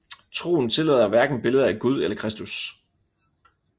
Troen tillader hverken billeder af Gud eller Kristus